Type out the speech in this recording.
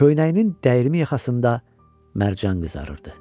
Köynəyinin dəyirmi yaxasında mərcan qızarırdı.